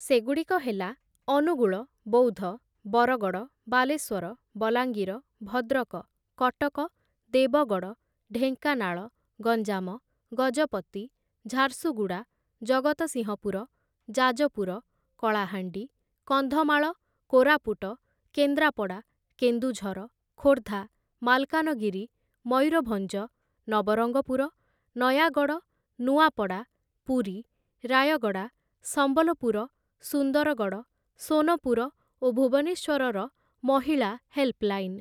ସେଗୁଡ଼ିକ ହେଲା ଅନୁଗୁଳ, ବୌଦ୍ଧ, ବରଗଡ଼, ବାଲେଶ୍ୱର, ବଲାଙ୍ଗିର, ଭଦ୍ରକ, କଟକ, ଦେବଗଡ଼, ଢେଙ୍କାନାଳ, ଗଞ୍ଜାମ, ଗଜପତି, ଝାରସୁଗୁଡ଼ା, ଜଗତସିଂହପୁର, ଯାଜପୁର, କଳାହାଣ୍ଡି, କନ୍ଧମାଳ, କୋରାପୁଟ, କେନ୍ଦ୍ରାପଡ଼ା, କେନ୍ଦୁଝର, ଖୋର୍ଦ୍ଧା, ମାଲକାନଗିରି, ମୟୂରଭଞ୍ଜ, ନବରଙ୍ଗପୁର, ନୟାଗଡ଼, ନୂଆପଡ଼ା, ପୁରୀ, ରାୟଗଡ଼ା, ସମ୍ବଲପୁର, ସୁନ୍ଦରଗଡ଼, ସୋନପୁର ଓ ଭୁବନେଶ୍ୱରର ମହିଳା ହେଲ୍ପଲାଇନ୍‌ ।